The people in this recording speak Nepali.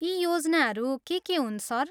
ती योजनाहरू के के हुन्, सर?